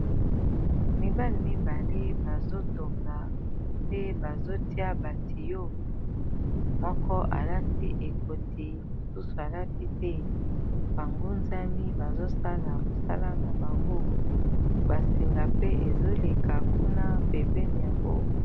mibali mibale bazotonga pe bazotia batiyo moko alati ekoti mosusu alati te bangunzami bazosala mosala na bango basinga pe ezoleka kuna pembeni yango